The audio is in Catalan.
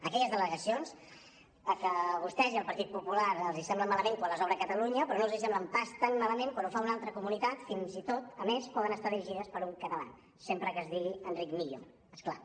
aquelles delegacions que a vostès i al partit popular els semblen tan malament quan les obre catalunya però no els semblen pas tan malament quan ho fa una altra comunitat i fins i tot a més poden estar dirigides per un català sempre que es digui enric millo és clar